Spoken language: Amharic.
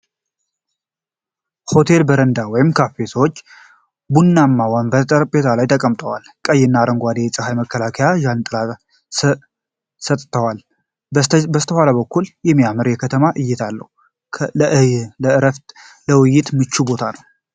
ሆቴል በረንዳ ወይም ካፌ ነው። ሰዎች በቡናማ ወንበሮችና ጠረጴዛዎች ላይ ተቀምጠዋል። ቀይና አረንጓዴ የፀሐይ መከላከያ ጃንጥላዎች ጥላ ሰጥተዋል። ከበስተኋላ በኩል የሚያምር የከተማ እይታ አለው። ለዕረፍትና ለውይይት ምቹ ቦታ ነው።